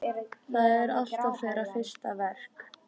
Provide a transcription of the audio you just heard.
Það er alltaf þeirra fyrsta verk.